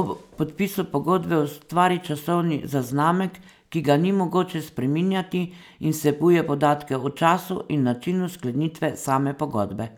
ob podpisu pogodbe ustvari časovni zaznamek, ki ga ni mogoče spreminjati in vsebuje podatke o času in načinu sklenitve same pogodbe.